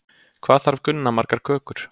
Hvað þarf Gunna margar kökur?